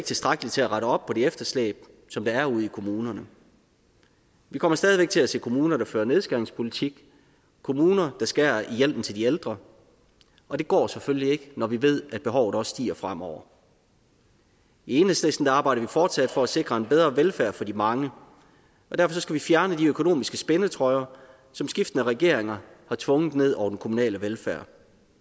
tilstrækkeligt til at rette op på det efterslæb som der er ude i kommunerne vi kommer stadig væk til at se kommuner der fører nedskæringspolitik kommuner der skærer i hjælpen til de ældre og det går selvfølgelig ikke når vi ved at behovet også stiger fremover i enhedslisten arbejder vi fortsat for at sikre en bedre velfærd for de mange og derfor skal vi fjerne de økonomiske spændetrøjer som skiftende regeringer har tvunget ned over den kommunale velfærd